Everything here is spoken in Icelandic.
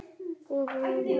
Opið hús í Hörpu um helgina